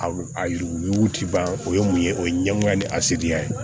A a yugu ti ban o ye mun ye o ye ɲɛgunya ni a seriya ye